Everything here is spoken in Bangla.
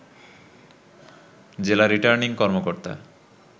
জেলা রিটার্নিং কর্মকর্তা